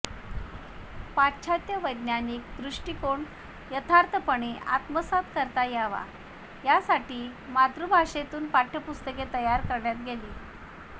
पाश्चात्य वैज्ञानिक दृष्टिकोन यथार्थपणे आत्मसात करता यावा यासाठी मातृभाषेतून पाठ्यपुस्तके तयार केली गेली